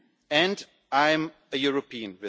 time. And I am a European.